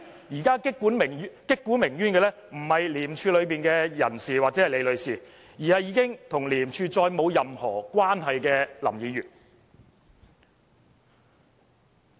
現在擊鼓鳴冤的人不是廉署內的人士或李女士，而是已經與廉署再沒有任何關係的林議員。